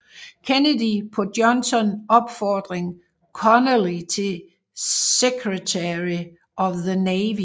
Kennedy på Johnson opfordring Connally til Secretary of the Navy